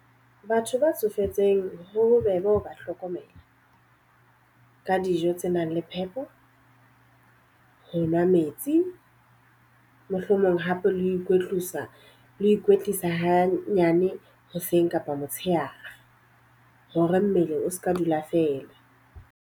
Batho ba tsofetseng ho bobebe ho ba hlokomela. Ka dijo tse nang le phepo, ho nwa metsi. Mohlomong hape le ho ikwetlisa ho ikwetlisa ha nyane hoseng kapa motshehare. Hore mmele o seka dula feela.